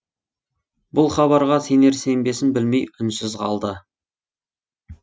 бұл хабарға сенер сенбесін білмей үнсіз қалды